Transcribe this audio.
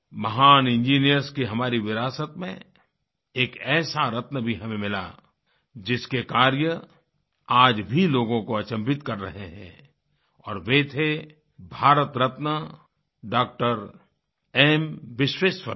महान इंजीनियर्स की हमारी विरासत में एक ऐसा रत्न भी हमें मिला जिसके कार्य आज भी लोगों को अचम्भित कर रहे हैं और वह थे Bharat Ratna Dr M Visvesvaraya D R